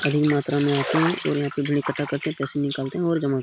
अधिक मात्रा में आते हैं और यहाँ पे भीड़ इकठ्ठा करते हैं पैसे निकालते है और जमा --